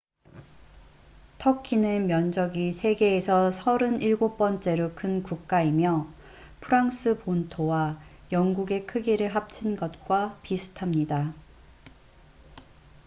터키는 면적이 세계에서 37번째로 큰 국가이며 프랑스 본토와 영국의 크기를 합친 것과 비슷합니다